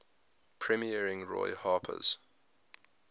premiering roy harper's